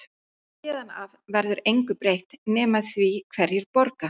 Héðan af verður engu breytt nema því hverjir borga.